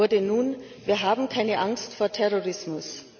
wurde nun Wir haben keine Angst vor Terrorismus!.